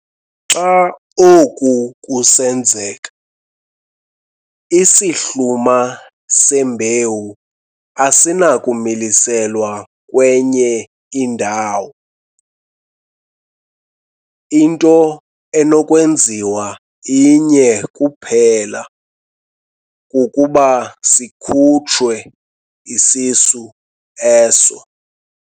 Xa oku kusenzeka, isihluma sembewu asinakumiliselwa kwenye indawo, into enokwenziwa inye kuphela kukuba sikhutshwe isisu eso.